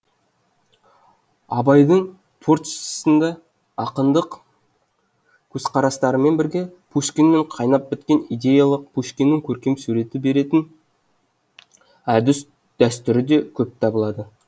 абайдың творчествосында ақындық көзқарастарымен бірге пушкинмен қайнап біткен идеялық пушкиннің көркем сурет беретін әдіс дәстүрі де көп табылады